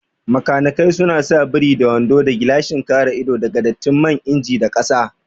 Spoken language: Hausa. Makanikai suna sa biri da wando da gilashin kare ido daga datti man inji da kasa